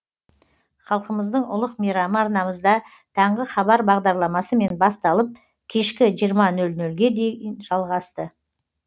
халқымыздың ұлық мейрамы арнамызда таңғы хабар бағдарламасымен басталып кешкі жиырма нөл нөлге дейін жалғасты